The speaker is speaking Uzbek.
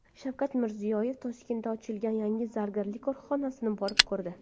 Shavkat Mirziyoyev Toshkentda ochilgan yangi zargarlik korxonasini borib ko‘rdi.